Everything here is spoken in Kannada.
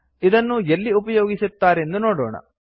ಇದನ್ನು ಎಲ್ಲಿ ಉಪಯೋಗಿಸುತ್ತಾರೆಂದು ನೋಡೋಣ